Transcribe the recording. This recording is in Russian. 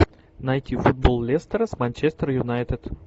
найти футбол лестера с манчестер юнайтед